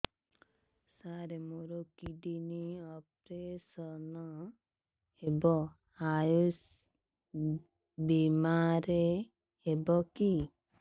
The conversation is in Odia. ସାର ମୋର କିଡ଼ନୀ ଅପେରସନ ହେବ ଆୟୁଷ ବିମାରେ ହେବ କି